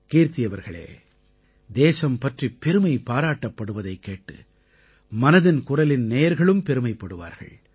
கீர்த்தி அவர்களே தேசம் பற்றி பெருமை பாராட்டப்படுவதைக் கேட்டு மனதின் குரலின் நேயர்களும் பெருமைப்படுவார்கள்